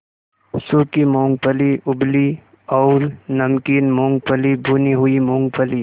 सूखी मूँगफली उबली और नमकीन मूँगफली भुनी हुई मूँगफली